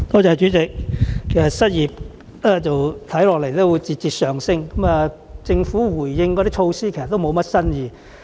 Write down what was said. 主席，當失業率預計會節節上升，政府回應時提及的措施卻無甚新意。